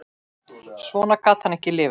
Svona gat hann ekki lifað.